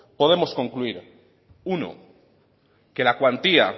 podemos concluir uno que la cuantía